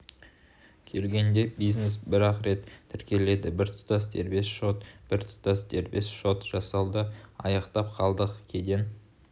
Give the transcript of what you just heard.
келгенде бизнес бір-ақ рет тіркеледі біртұтас дербес шот біртұтас дербес шот жасауды аяқтап қалдық кеден